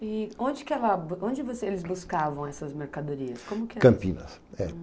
E onde que ela onde vocês buscavam essas mercadorias, como que era? Campinas é